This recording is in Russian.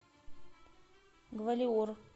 гвалиор